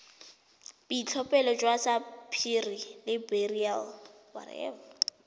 boitlhophelo jwa sapphire le beryl